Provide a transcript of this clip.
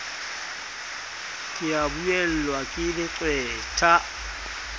ke a buellwa ke leqwetha